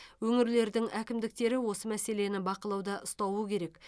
өңірлердің әкімдіктері осы мәселені бақылауда ұстауы керек